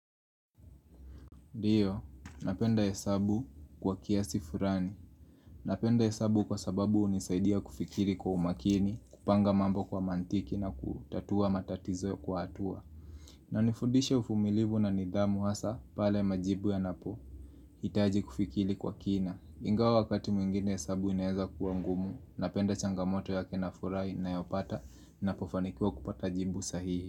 Ndiyo, napenda hesabu kwa kiasi fulani. Napenda hesabu kwa sababu hunisaidia kufikiri kwa umakini, kupanga mambo kwa mantiki na kutatua matatizo kwa hatua. Inanifundishe uvumilivu na nidhamu hasaa pale majibu yanapo. HiItaji kufikiri kwa kina. Ingawa wakati mwingine hesabu inaweza kuwa ngumu. Napenda changamoto yake na furaha ninayopata ninapofanikiwa kupata jibu sahihi.